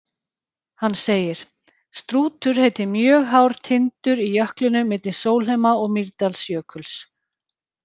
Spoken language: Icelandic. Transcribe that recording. Hann segir: Strútur heitir mjög hár tindur í jöklinum milli Sólheima- og Mýrdalsjökuls.